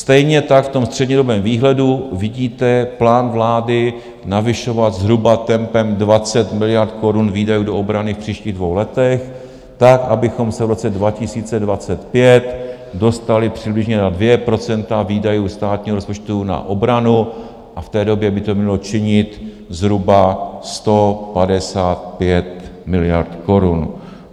Stejně tak v tom střednědobém výhledu vidíte plán vlády navyšovat zhruba tempem 20 miliard korun výdaje do obrany v příštích dvou letech tak, abychom se v roce 2025 dostali přibližně na 2 % výdajů státního rozpočtu na obranu, v té době by to mělo činit zhruba 155 miliard korun.